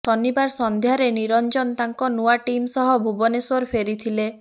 ଶନିବାର ସନ୍ଧ୍ୟାରେ ନିରଞ୍ଜନ ତାଙ୍କ ନୂଆ ଟିମ୍ ସହ ଭୁବନେଶ୍ବର ଫେରିଥିଲେ